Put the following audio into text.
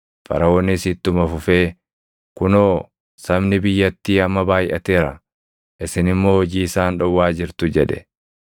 Faraʼoonis ittuma fufee, “Kunoo sabni biyyattii amma baayʼateera; isin immoo hojii isaan dhowwaa jirtu” jedhe.